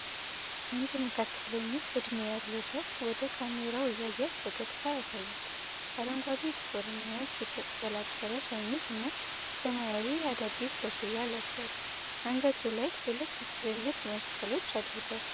አንድ መካከለኛ ዕድሜ ያለው ሰው ወደ ካሜራው እያየ ፈገግታ ያሳያል። አረንጓዴ፣ ጥቁርና ነጭ የተቀላቀለ ሸሚዝ እና ሰማያዊ የአዲዳስ ኮፍያ ለብሷል። አንገቱ ላይ ሁለት ትልልቅ መስቀሎች አድርጓል።